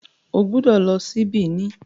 o gbódò ló sì Benin.